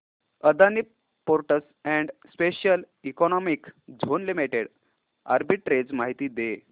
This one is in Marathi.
Adani ports and special economic zone limited arbitrage माहिती दे